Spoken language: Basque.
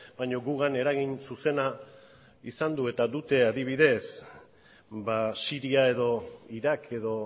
baina gugan eragin zuzena izan du eta dute adibidez siria edo irak edo